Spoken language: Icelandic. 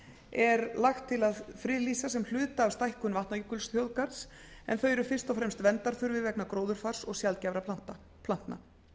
er lagt til að friðlýsa sem hluta af stækkun vatnajökulsþjóðgarðs en þau eru fyrst og fremst verndarþurfi vegna gróðurfars og sjaldgæfra plantna